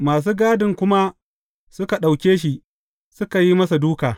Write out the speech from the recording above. Masu gadin kuma suka ɗauke shi, suka yi masa duka.